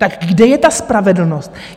Tak kde je ta spravedlnost?